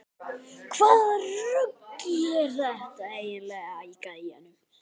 Hvaða rugl er þetta eiginlega í gæjanum?